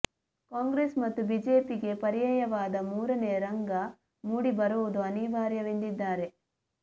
ಕಾಂಗ್ರೆಸ್ ಮತ್ತು ಬಿಜೆಪಿಗೆ ಪಯರ್ಾಯವಾದ ಮೂರನೆಯ ರಂಗ ಮೂಡಿ ಬರುವುದು ಅನಿವಾರ್ಯವೆಂದಿದ್ದಾರೆ